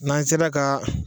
N'an sela ka